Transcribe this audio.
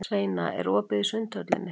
Sveina, er opið í Sundhöllinni?